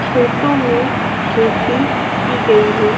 खेतो में खेती की गई है।